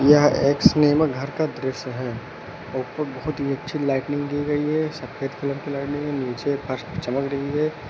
यह एक सिनेमा घर का दृश्य है। ऊपर बहुत ही अच्छी लाइटनिंग दी गई है। सफेद कलर लाइटनिंग है। नीचे फर्श चमक रही है।